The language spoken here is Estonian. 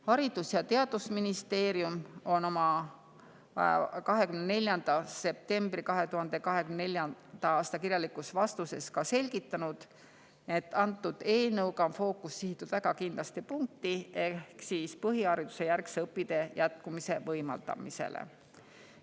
Haridus‑ ja Teadusministeerium oma 24. septembri 2024. aasta kirjalikus vastuses selgitas, et antud eelnõuga on fookus sihitud väga kindlasse punkti ehk siis põhiharidusjärgse õpitee jätkumise võimaldamisele.